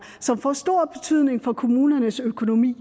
som får stor betydning for kommunernes økonomi i